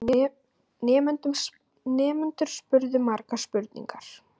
Nemendurnir spurðu margra spurninga.